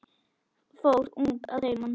Fór ung að heiman.